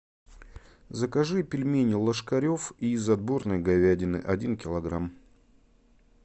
закажи пельмени ложкарев из отборной говядины один килограмм